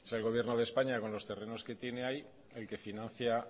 el gobierno de españa con los terrenos que tiene ahí el que financia